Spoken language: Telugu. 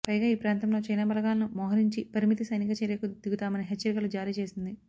పైగా ఈ ప్రాంతంలో చైనా బలగాలను మొహరించి పరిమిత సైనిక చర్యకు దిగుతామని హెచ్చరికలు జారీ చేసింది